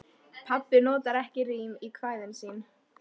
Pabbi notar ekki rím í kvæðin sín.